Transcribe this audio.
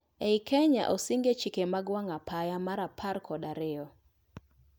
Ei Kenya osing e chike mag wang' apaya mar apar kod ariyo